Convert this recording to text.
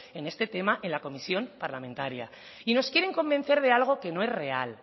en este tema en la comisión parlamentaria y nos quieren convencer de algo que no es real